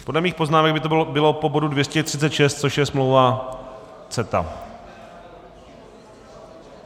Podle mých poznámek by to bylo po bodu 236, což je smlouva CETA.